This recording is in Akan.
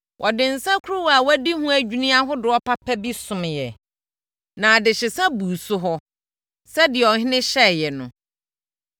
Wɔde nsakuruwa a wɔadi ho adwini ahodoɔ papa bi someeɛ, na adehyesa buu so hɔ, sɛdeɛ ɔhene hyɛeɛ no.